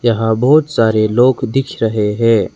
यहां बहुत सारे लोग दिख रहे हैं।